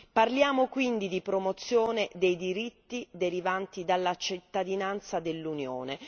Parliamo quindi di promozione dei diritti derivanti dalla cittadinanza dell'Unione.